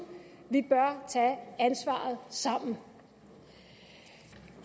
vi bør tage ansvaret sammen